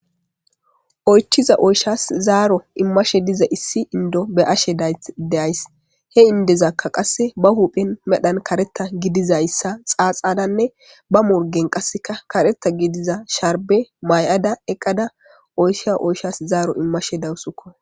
Oychchiza oyshas zaaro imashe diza issi inddo be7ashe days. He inddozakka qasse ba huuphphen kareththa gidizayssa xaaxadanne ba morggen kareththa gidida sharbbe ma7ada eqada oyshiya oyshas zaaro immashe dawusukko.